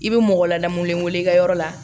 I bɛ mɔgɔ ladamulen wele i ka yɔrɔ la